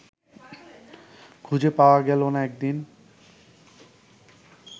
খুঁজে পাওয়া গেল না এদিন